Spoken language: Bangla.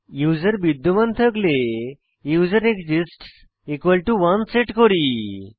ইউসার বিদ্যমান থাকলে ইউজারএক্সিস্টস 1 সেট করি